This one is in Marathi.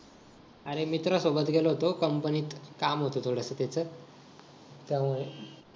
अरे मित्रांसोबत गेलो होत company त काम होत थोडस त्याच त्यामुळं